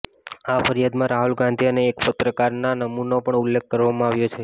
આ ફરિયાદમાં રાહુલ ગાંધી અને એક પત્રકારના નામનો પણ ઉલ્લેખ કરવામાં આવ્યો છે